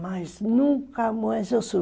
Mas nunca mais eu